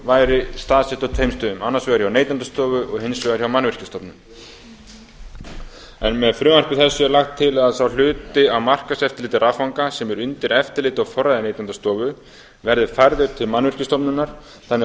væri staðsett á tveimur stöðum annars vegar hjá neytendastofu og hins vegar hjá mannvirkjastofnun með frumvarpi þessu er lagt til að sá hluti af markaðseftirliti raffanga sem er undir eftirliti og forræði neytendastofu verði færður til mannvirkjastofnunar þannig